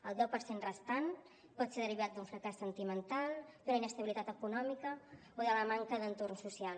el deu per cent restant pot ser derivat d’un fracàs sentimental d’una inestabilitat econòmica o de la manca d’entorn social